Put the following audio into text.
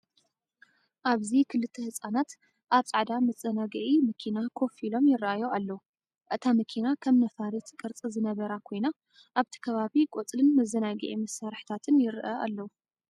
ኣብዚ ክልተ ህጻናት ኣብ ጻዕዳ መዘናግዒ መኪና ኮፍ ኢሎም ይራኣዩ ኣለው። እታ መኪና ከም ነፋሪት ቅርጺ ዝነበራ ኮይና፡ ኣብቲ ከባቢ ቆጽልን መዘናግዒ መሳርሒታትን ይርአ ኣለው።